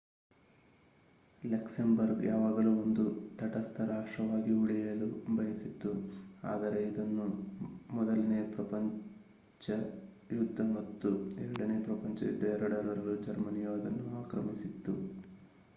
Luxembourg ಯಾವಾಗಲೂ ಒಂದು ತಟಸ್ಥ ರಾಷ್ಟ್ರವಾಗಿ ಉಳಿಯಲು ಬಯಸಿತ್ತು ಆದರೆ ಇದನ್ನು ಮೊದಲನೆಯ ಪ್ರಪಂಚ ಯುದ್ದ ಮತ್ತು ಎರಡನೇ ಪ್ರಪಂಚ ಯುದ್ದ ಎರಡರಲ್ಲೂ ಜರ್ಮನಿಯು ಅದನ್ನು ಆಕ್ರಮಿಸಿತ್ತು